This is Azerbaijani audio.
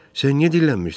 Sən niyə dillənmirsən?